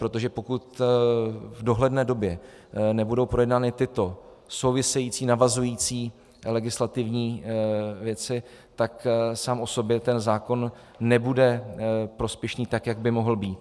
Protože pokud v dohledné době nebudou projednány tyto související, navazující legislativní věci, tak sám o sobě ten zákon nebude prospěšný tak, jak by mohl být.